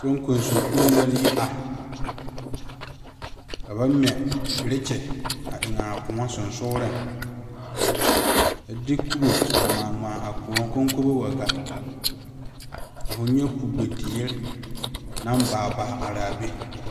Soŋkoso kpoŋ la yi are ka ba ŋmɛ berekyi a eŋa a kõɔ sonsogle a de kobo a ŋma ŋma a kõɔ kɔŋkɔbo wa gaa ka foo nyɛ kugbe teere naŋ baa baa are be.